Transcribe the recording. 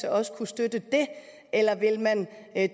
også kunne støtte det eller ville man